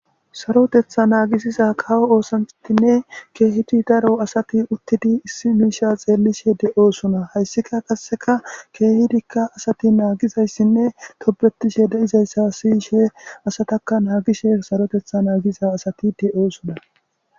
Sarotetha naagisiza kawo oosantinne keehidi daro asati uttidi issi miisha xeellishe de'oosona hayssika qasseka keehidikka asati naagizayssinne tobetishe de'izayssa siyishe asataka naagishe sarotetha naagiza asati de'oosoda